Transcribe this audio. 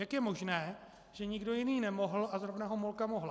Jak je možné, že nikdo jiný nemohl a zrovna Homolka mohla?